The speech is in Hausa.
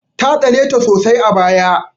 Ta tsane ta sosai a baya.